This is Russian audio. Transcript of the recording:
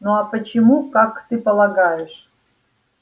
ну а почему как ты полагаешь